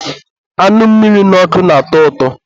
anụ amịrị n'ọkụ na-atọ ụtọ.